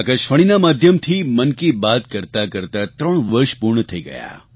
આકાશવાણીના માધ્યમથી મન કી બાત કરતાં કરતાં ત્રણ વર્ષ પૂર્ણ થઈ ગયા